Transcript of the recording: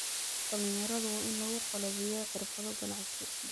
Dhalinyaradu waa in lagu qalabeeyaa xirfado ganacsi.